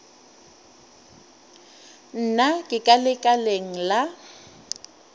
se tlale ga lešaka la